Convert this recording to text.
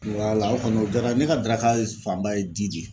Wala o kɔni o jaara n ye ne ka daraka fanba ye ji de ye.